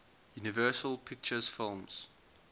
universal pictures films